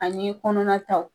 Ani kɔnɔna taw